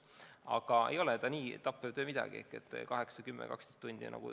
Aga ei ole see nii tappev töö midagi – töötasime 8, 10, 12 tundi.